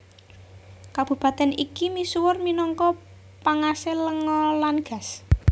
Kabupatèn iki misuwur minangka pangasil lenga lan gas